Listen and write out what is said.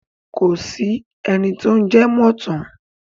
Kò sí ẹni tó ń jẹ mọ̀ ọ̀ tán.